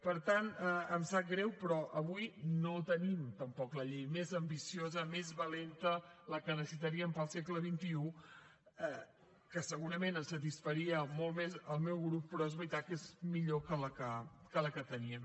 per tant em sap greu però avui no tenim tampoc la llei més ambiciosa més valenta la que necessitaríem per al segle xxi que segurament satisfaria molt més al meu grup però és veritat que és millor que la que teníem